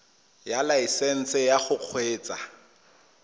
ya laesesnse ya go kgweetsa